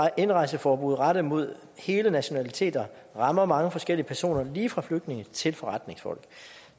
indrejseforbud rettet mod hele nationaliteter rammer mange forskellige personer lige fra flygtninge til forretningsfolk